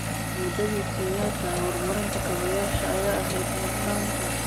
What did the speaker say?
Muddadii Kenyatta, horumarinta kaabayaasha ayaa ahayd mudnaanta.